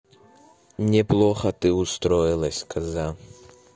неплохо ты устроилась коза